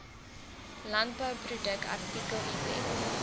landbouproduk artikel item